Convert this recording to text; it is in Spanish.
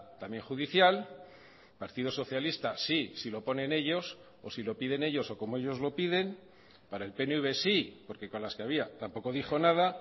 también judicial partido socialista sí si lo ponen ellos o si lo piden ellos o como ellos lo piden para el pnv sí porque con las que había tampoco dijo nada